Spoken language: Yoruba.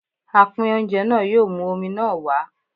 Apín oúnjẹ náà yóò mú omi náà wá.